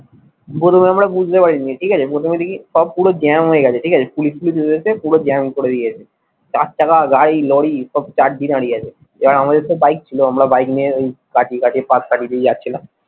প্রথমে আমরা বুঝতে পারিনি ঠিক আছে প্রথমে দেখি সব পুরো জ্যাম হয়ে গেছে ঠিক আছে পুলিশ টুলিশ গুলো এসে পুরো jam করে দিয়েছে চার চাকা গাড়ি লরি সব সব start দিয়ে দাঁড়িয়ে আছে আর আমাদের তো বাইক ছিল আমরা বাইক নিয়ে ওই কাটিয়ে কাটিয়ে পাশ কাটিয়ে দিয়ে যাচ্ছিলাম।